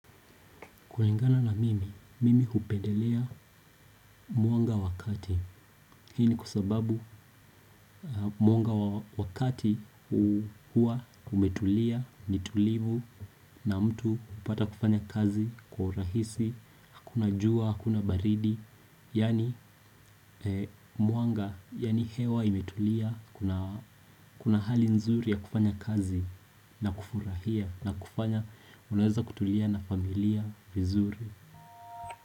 Kulingana na mimi, mimi hupendelea mwanga wakati. Hii ni kwa sababu mwanga wakati hua umetulia, nitulivu na mtu hupata kufanya kazi kwa urahisi, hakuna jua, hakuna baridi. Yani mwanga, yani hewa imetulia, kuna hali nzuri ya kufanya kazi na kufurahia na kufanya, unaweza kutulia na familia vizuri.